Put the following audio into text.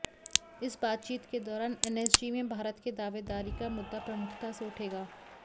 इस बातचीत के दौरान एनएसजी में भारत के दावेदारी का मुद्दा प्रमुखता से उठेगा